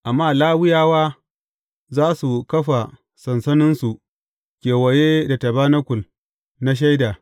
Amma Lawiyawa za su kafa sansaninsu kewaye da tabanakul na Shaida.